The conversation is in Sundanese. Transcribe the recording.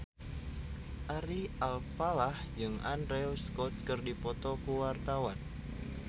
Ari Alfalah jeung Andrew Scott keur dipoto ku wartawan